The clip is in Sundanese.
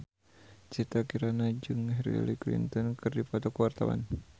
Citra Kirana jeung Hillary Clinton keur dipoto ku wartawan